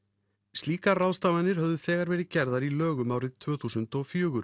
slíkar ráðstafanir höfðu þegar verið gerðar í lögum árið tvö þúsund og fjögur